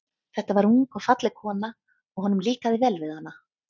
Þetta var ung og falleg kona, og honum líkaði vel við hana.